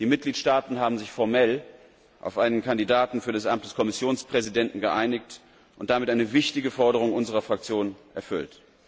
Die Mitgliedstaaten haben sich formell auf einen Kandidaten für das Amt des Kommissionspräsidenten geeinigt und damit eine wichtige Forderung unserer Fraktion erfüllt.